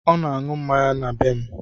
Ọ na na-aṅụ mmanya na be m